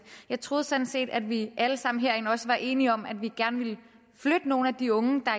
jeg troede sådan set at vi alle sammen herinde også var enige om at vi gerne ville flytte nogle af de unge der